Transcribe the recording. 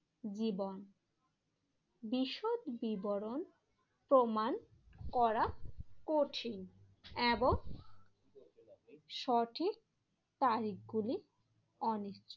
জীবন বিশদ বিবরণ প্রমাণ করা কঠিন এবং সঠিক তারিখ গুলি অনেক।